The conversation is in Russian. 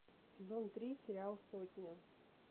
сезон три сериал сотня